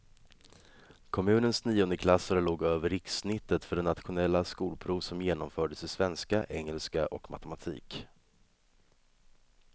Kommunens niondeklassare låg över rikssnittet för det nationella skolprov som genomfördes i svenska, engelska och matematik.